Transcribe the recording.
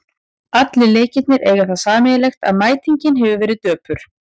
Allir leikirnir eiga það sameiginlegt að mætingin hefur verið döpur.